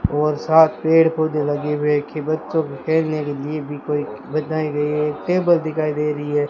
और साथ पेड़ पौधे लगे हुए है कि बच्चों के खेलने के लिए भी कोई बनाई गई है एक टेबल दिखाई दे रही है।